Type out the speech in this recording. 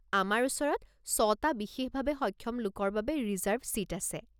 আমাৰ ওচৰত ছটা বিশেষভাৱে সক্ষম লোকৰ বাবে ৰিজাৰ্ভ ছিট আছে।